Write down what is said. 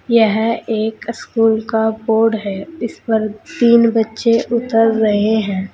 यह एक स्कूल का बोर्ड है इस पर तीन बच्चे उतर रहे हैं।